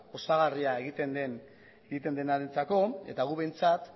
osagarria egiten denarentzako eta guk behintzat